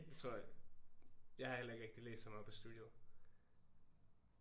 Det tror jeg jeg har heller ikke rigtig læst så meget på studiet